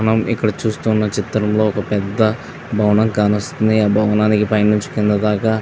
మనం ఇక్కడ చూస్తున్న చిత్రంలో ఒక పెద్ధ భవనం కానస్తుంది ఆ భవనానికి పై నుంచి కింద దాకా --